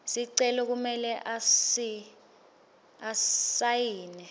sicelo kumele asayine